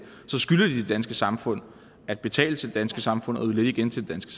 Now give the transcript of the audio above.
så skylder de det danske samfund at betale til det danske samfund og yde lidt igen til det